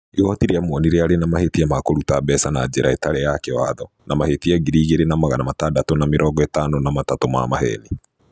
Igooti rĩa muonire arĩ na mahĩtia ma kũruta mbeca na njĩra ĩtarĩ ya kĩwathona mahĩtia ngiri igĩrĩ na magana matandatũ na mĩrongo ĩtano na matatũ ma maheeni.